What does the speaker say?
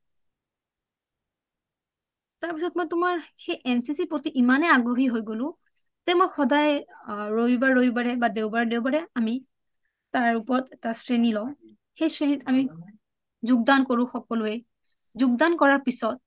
তাৰপিছত NCC ৰ প্ৰতি ইমানে এ আগ্ৰহী হৈ গলো যে মই সদায় ৰবিবাৰ ৰবিবাৰে বা দেওবাৰ দেওবাৰে আমি তাৰ ওপৰত এটা শ্ৰেণী লওঁ সেই শ্ৰেণীত আমি যোগদান কৰোঁ সকলোঁয়ে যোগদান কৰা পিছত